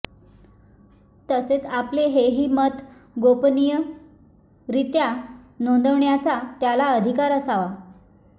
तसेच आपले हेही मत गोपनीयरीत्या नोंदविण्याचा त्याला अधिकार असावा